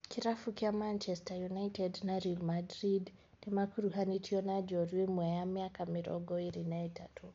Kĩrabu kĩa Manchester United na Real Madrid nĩmakuruhanĩtio na njorua ĩmwe ya mĩaka mĩrongo ĩrĩ na ĩtatũ